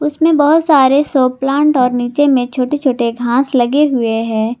उसमें बहोत सारे शो प्लांट और नीचे में छोटे छोटे घास लगे हुए हैं।